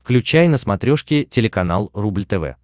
включай на смотрешке телеканал рубль тв